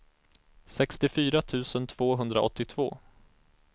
sextiofyra tusen tvåhundraåttiotvå